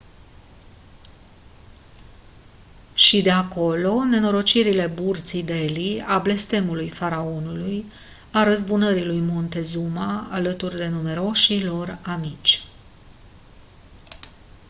și de acolo nenorocirile burții delhi a blestemului faraonului a răzbunării lui montezuma alături de numeroșii lor amici